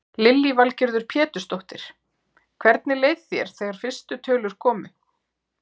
Lillý Valgerður Pétursdóttir: Hvernig leið þér þegar fyrstu tölur komu?